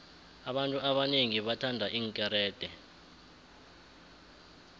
abantu abonengi bathanda iinkerede